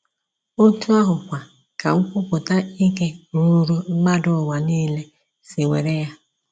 Otú ahụkwa ka Nkwupụta Ike Ruuru mmadụ Ụwa Nile si were ya.